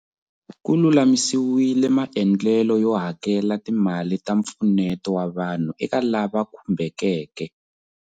Ku lulamisiwile maendlelo yo hakela timali ta mpfuneto wa vanhu eka lava khumbekeke.